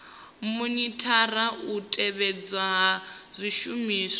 monithara u tevhedzelwa ha zwishumiswa